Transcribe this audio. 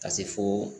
Ka se fo